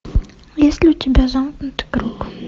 есть ли у тебя замкнутый круг